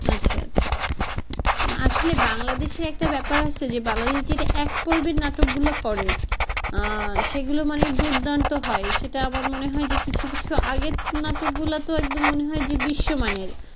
আচ্ছা আচ্ছা আসলে বাংলাদেশে একটা ব্যাপার আছে যে বাংলাদেশে এক পর্বের নাটক গুলো করে আহ সেগুলো মানে দুর্দান্ত হয় সেটা আবার মনে হয় যে কিছু কিছু আগের নাতক গুলা তো মনে হয় যে বিশ্বমানের,